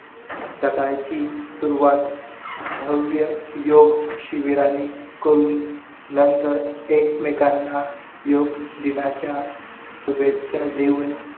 सकाळची सुरवात भव्य योग शिबिरानी करून नंतर एकमेकांना योग दिनाच्या शुभेच्छा देऊन